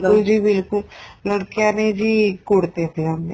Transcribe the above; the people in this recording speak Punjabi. ਬਿਲਕੁਲ ਜੀ ਬਿਲਕੁਲ ਲੜਕਿਆ ਨੇ ਜੀ ਕੁੜਤੇ ਪਜਾਮੇ